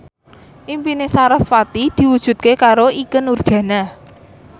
impine sarasvati diwujudke karo Ikke Nurjanah